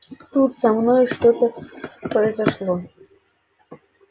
тут со мной что-то произошло